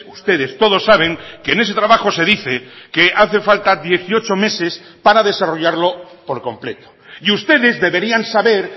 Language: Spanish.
ustedes todos saben que en ese trabajo se dice que hace falta dieciocho meses para desarrollarlo por completo y ustedes deberían saber